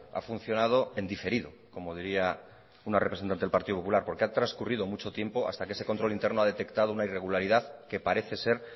ha funcionado en diferido como diría una representante del partido popular porque ha transcurrido mucho tiempo hasta que ese control interno ha detectado una irregularidad que parece ser